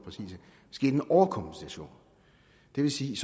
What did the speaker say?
sket en overkompensation det vil sige